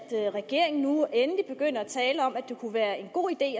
regeringen nu endelig begynder at tale om at det kunne være en god idé